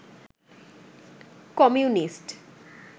communist